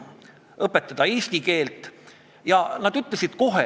Me olime vist peaaegu kõik nõus ka sellega, et juriidilist ja füüsilist isikut tuleks vaadata lahus.